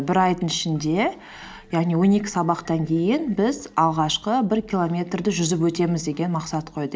бір айдың ішінде яғни он екі сабақтан кейін біз алғашқы бір километрді жүзіп өтеміз деген мақсат қойды